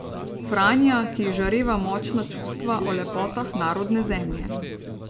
Franja, ki izžareva močna čustva o lepotah narodne zemlje.